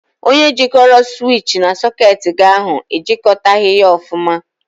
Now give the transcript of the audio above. Onye jịkọrọ siwichi na sọketi gị ahụ e jịkọtaghị ya ọfụma.